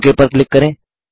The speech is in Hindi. ओक पर क्लिक करें